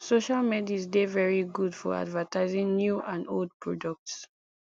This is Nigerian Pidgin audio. social medis dey very good for advertising new and old products